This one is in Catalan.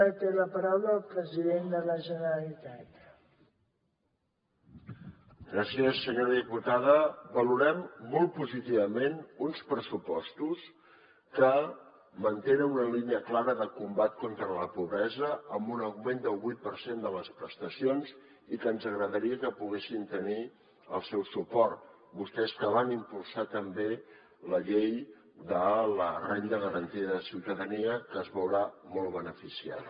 senyora diputada valorem molt positivament uns pressupostos que mantenen una línia clara de combat contra la pobresa amb un augment del vuit per cent de les prestacions i que ens agradaria que poguessin tenir el seu suport vostès que van impulsar també la llei de la renda garantida de ciutadania que se’n veurà molt beneficiada